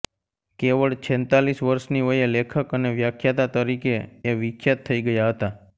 કેવળ છેંતાલીશ વર્ષની વયે લેખક અને વ્યાખ્યાતા તરીકે એ વિખ્યાત થઈ ગયા હતા